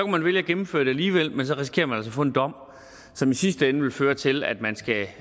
man vælge at gennemføre det alligevel men så risikerer man altså at få en dom som i sidste ende vil føre til at man skal